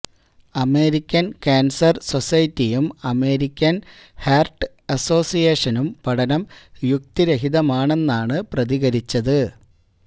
American cancer സൊസെെറ്റിയും American heart അസോസിയേഷനും പഠനം യുക്തിരഹിതമാണെന്നാണ് പ്രതികരിച്ചത്